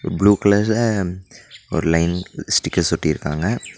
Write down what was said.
Blue கலர்ல ஒரு line stickers ஒட்டிருக்காங்க.